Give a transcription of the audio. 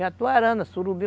Jatuarana, surubim.